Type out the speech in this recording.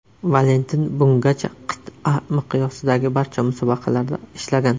Valentin bungacha qit’a miqyosidagi barcha musobaqalarda ishlagan.